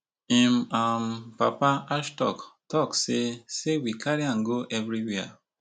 im um papa ashok tok say say we carry am go evriwia